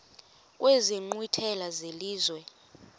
kwezi nkqwithela zelizwe